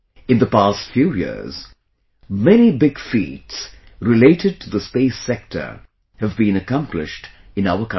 In the past few years, many big feats related to the space sector have been accomplished in our country